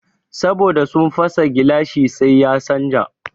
Saboda sun fasa gilashin sai ya canja